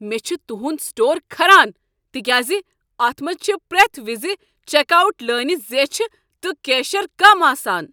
مےٚ چھ تہنٛد سٹور کھران تکیاز اتھ منٛز چھ پرٛٮ۪تھ وز چیک آوٹ لٲنہٕ زیچھِ تہٕ کیشر کم آسان۔